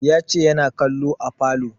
Ya ce yana kallo a falo